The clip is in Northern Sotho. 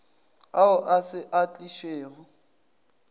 ao a se a tlišwego